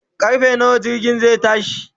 karfe nawa jirgin zai tashi?